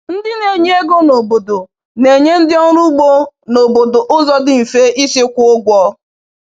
Ndị na-enye ego n’obodo na-enye ndị ọrụ ugbo n’obodo ụzọ dị mfe isi kwụọ ụgwọ.